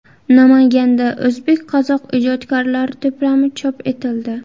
Namanganda o‘zbek-qozoq ijodkorlari to‘plami chop etildi.